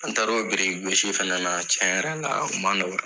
An taara o biriki gosi fɛnɛ na. Tiɲɛ yɛrɛ la o ma nɔgɔya.